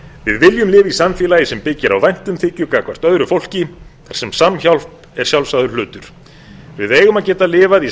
við viljum lifa í samfélagi sem byggir á væntumþykju gagnvart öðru fólki þar sem samhjálp er sjálfsagður hlutur við eigum að geta lifað í